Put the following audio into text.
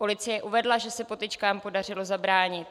Policie uvedla, že se potyčkám podařilo zabránit.